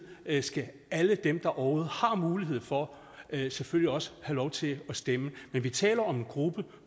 skal alle dem der overhovedet har mulighed for det selvfølgelig også have lov til at stemme men vi taler om en gruppe